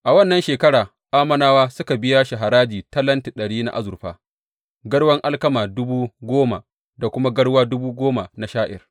A wannan shekara Ammonawa suka biya shi haraji talenti ɗari na azurfa, garwan alkama dubu goma da kuma garwa dubu goma na sha’ir.